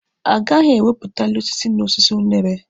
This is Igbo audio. A gaghị ewepụtali osisi na osisi unere.